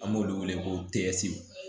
An b'olu wele ko